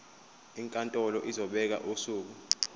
inkantolo izobeka usuku